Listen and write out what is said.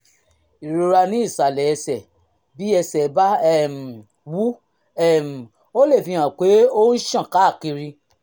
ìrora ní ìsàlẹ̀ ẹsẹ̀ bí ẹ̀sẹ̀ bá um wú um ó lè fihàn pé ó ń ṣàn káàkiri